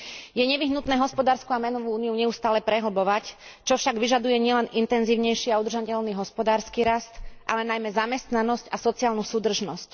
Je nevyhnutné hospodársku a menovú Úniu neustále prehlbovať, čo však vyžaduje nielen intenzívnejší a udržateľný hospodársky rast, ale najmä zamestnanosť a sociálnu súdržnosť.